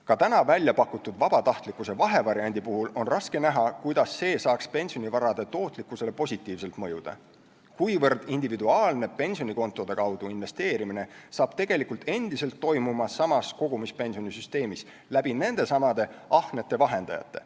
Ka täna väljapakutud vabatahtlikkuse vahevariandi puhul on raske näha, kuidas see saaks pensionivarade tootlikkusele positiivselt mõjuda, kuivõrd individuaalne pensionikontode kaudu investeerimine hakkab tegelikult endiselt toimuma samas kogumispensioni süsteemis läbi nendesamade ahnete vahendajate.